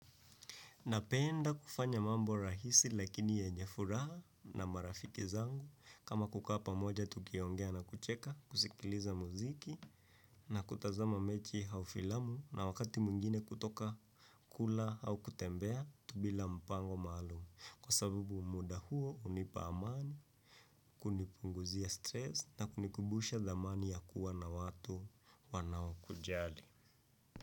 Napenda kufanya mambo rahisi lakini yenye furaha na marafiki zangu kama kukaa pamoja tukiongea na kucheka, kusikiliza muziki na kutazama mechi au filamu, na wakati mwingine kutoka kula au kutembea tu bila mpango maalum. Kwa sababu muda huo hunipa amani, kunipunguzia stress na kunikumbusha thamani ya kuwa na watu wanaokujali.